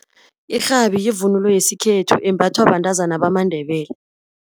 Irhabi yivunulo yesikhethu imbathwa bantazana bamaNdebele.